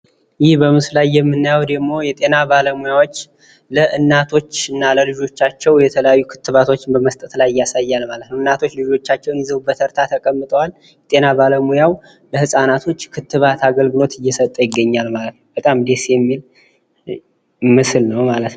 ይህ በምስሉ ላይ የምናየው የጤና ባለሙያዎች ለ እናቶችና ለልጆቻቸው የተለያዩ ክትባቶችን እየሰጡ ይገኛሉ ። እናቶች ልጆቻቸውን ይዘው በተርታ ተቀምጠዋል። የጤና ባለሙያው ለልጆች የክትባት አገልግሎት እየሰጡ ይታያሉ። በጣም ደስ የሚል ምስል ነው።